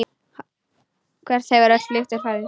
Hvert hefur öll lyktin horfið?